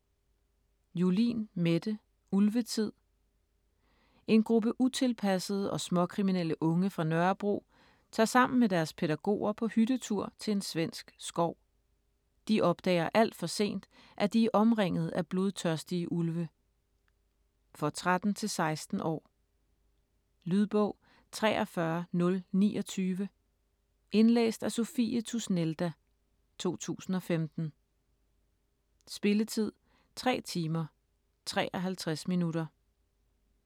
Julin, Mette: Ulvetid En gruppe utilpassede og småkriminelle unge fra Nørrebro tager sammen med deres pædagoger på hyttetur til en svensk skov. De opdager alt for sent, at de er omringede af blodtørstige ulve. For 13-16 år. Lydbog 43029 Indlæst af Sophie Tusnelda, 2015. Spilletid: 3 timer, 53 minutter.